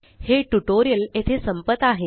हे ट्यूटोरियल येथे संपत आहे